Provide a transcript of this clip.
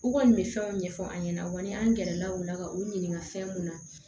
U kɔni bɛ fɛnw ɲɛfɔ an ɲɛna an gɛrɛla u la ka u ɲininka fɛn mun na